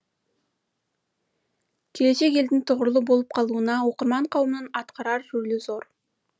келешек елдің тұғырлы болып қалуына оқырман қауымның атқарар рөлі зор